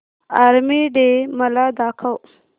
army day मला दाखव